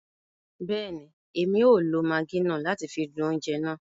Bẹẹni, Èmí o lo Maggi náà láti fi dùn oúnjẹ náà